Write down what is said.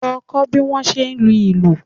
Lọ kọ́ bí wọ́n ṣe ń lu ìlù!